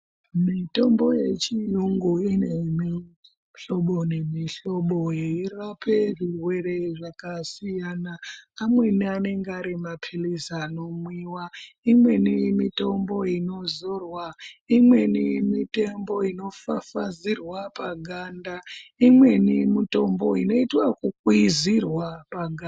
Mitombo yechiyungu ine mihlobo nemihlobo yeirape zvirwere zvakasiyana. Amweni anenge ari maphilizi anomwiwa, imweni mitombo inozorwa, imweni mitombo inofafazirwa paganda, imweni mitombo inoitwe ekukwizirwa paga.